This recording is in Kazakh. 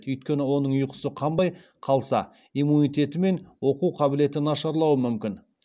өйткені оның ұйқысы қанбай қалса иммунитеті мен оқу қабілеті нашарлауы мүмкін